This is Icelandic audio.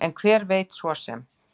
En hver veit svo sem?